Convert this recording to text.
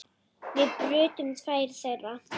Við brutum tvær þeirra.